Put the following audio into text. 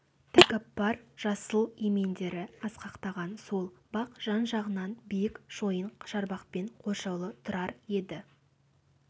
тәкаппар жасыл емендері асқақтаған сол бақ жан-жағынан биік шойын шарбақпен қоршаулы тұрар еді